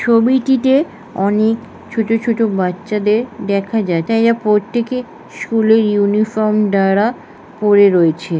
ছবিটিতে অনেক ছোট ছোট বাচ্চাদের দেখা যায়। তাই এরা প্রত্যেকে স্কুল -এর ইউনিফর্ম দ্বারা পড়ে রয়েছে ।